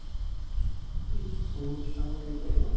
ସବୁ କିଛି କାମ ସେ କରିବ ନା